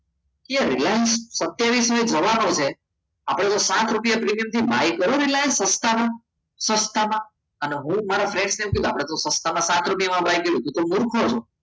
એ reliance જવાનો છે આપણે સાત રૂપિયા પ્રીમિયમ છે પ્રીમિયમ થી buy કરો રિલાયન્સ સસ્તામાં સસ્તામાં અને હું મારા friend ને આપણે સસ્તામાં સાત રૂપિયા મળી ગયો